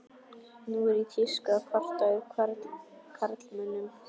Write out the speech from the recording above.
Nú er í tísku að kvarta yfir karlmönnum.